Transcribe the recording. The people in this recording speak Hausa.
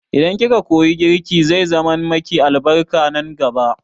Idan ki ka koyi girki, zai zaman ma ki albarka nan gaba